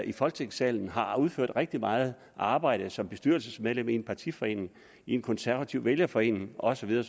i folketingssalen har udført rigtig meget arbejde som bestyrelsesmedlem i en partiforening i en konservativ vælgerforening og så videre